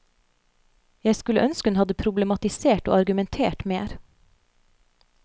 Jeg skulle ønske hun hadde problematisert og argumentert mer.